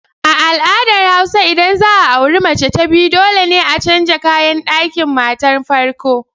A al'adar hausa idan za a auri mace ta biyu dole ne a canza kayan ɗakin matar farko.